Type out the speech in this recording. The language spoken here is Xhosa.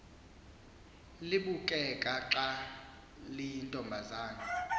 libukeka xa liyintombazana